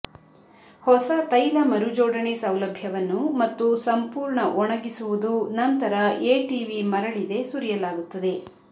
ಹೊಸ ತೈಲ ಮರುಜೋಡಣೆ ಸೌಲಭ್ಯವನ್ನು ಮತ್ತು ಸಂಪೂರ್ಣ ಒಣಗಿಸುವುದು ನಂತರ ಎಟಿವಿ ಮರಳಿದೆ ಸುರಿಯಲಾಗುತ್ತದೆ